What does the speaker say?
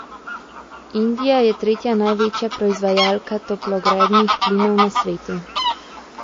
Indija je tretja največja proizvajalka toplogrednih plinov na svetu.